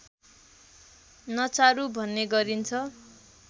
नचारु भन्ने गरिन्छ